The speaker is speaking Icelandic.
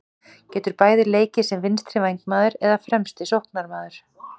Getur bæði leikið sem vinstri vængmaður eða fremsti sóknarmaður.